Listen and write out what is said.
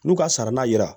N'u ka sara na